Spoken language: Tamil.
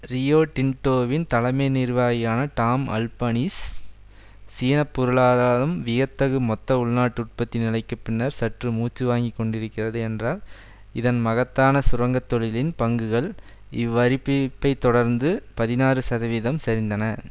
ரியோ டின்டோவின் தலைமை நிர்வாகியான டாம் அல்பனீஸ் சீன பொருளாதாரம் வியத்தகு மொத்த உள்நாட்டு உற்பத்தி நிலைக்கு பின்னர் சற்று மூச்சு வாங்கி கொண்டிருக்கிறது என்றார் இந்த மகத்தான சுரங்க தொழிலின் பங்குகள் இவ்வறிபிப்பை தொடர்ந்து பதினாறு சதவிகிதம் சரிந்தன